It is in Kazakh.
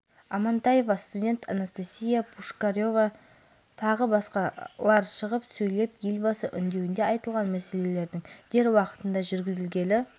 дөңгелек үстел мәжілісінде институт проректоры тілеген ахметов саясаттану ғылымдарының кандидаты светлана назарова философия ғылымдарының кандидаты айгүл